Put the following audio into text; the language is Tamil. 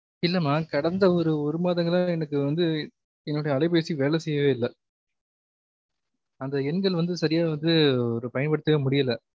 இல்லாம கடந்த ஒரு ஒரு மாதங்களா எனக்கு வந்து என்னோட அலைபேசி வேல செய்யவே இல்ல அந்த எண்கள் வந்து சரியா வந்து பயன்படுத்தவே முடியல